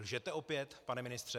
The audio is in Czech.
Lžete opět, pane ministře?